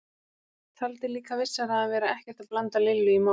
Taldi líka vissara að vera ekkert að blanda Lillu í málið.